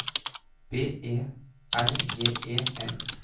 B E R G E M